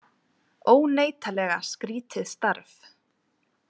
Óneitanlega skrítið starf.